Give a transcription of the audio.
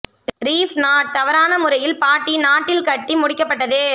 reef knot தவறான முறையில் பாட்டி நாட் இல் கட்டி முடிக்கப்பட்டது